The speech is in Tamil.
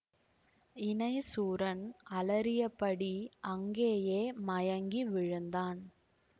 இணைசூரன் அலறியபடி அங்கேயே மயங்கி விழுந்தான்